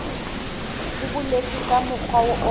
ho boletswe ka mokgwa o